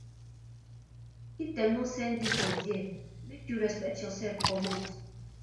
if dem no send you for there make you respect yoursef comot